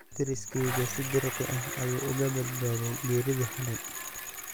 Deriskeygu si dirqi ah ayuu uga badbaaday geeridii xalay.